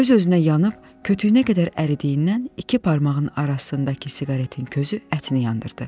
Öz-özünə yanıb kütüyünə qədər əridiyindən iki barmağın arasındakı siqaretin közü ətini yandırdı.